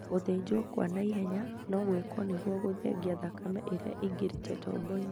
Gũthĩnjwo kwa na ihenya no gwĩkwo nĩguo gũthengia thakame ĩrĩa ĩingĩrĩte tobo-inĩ.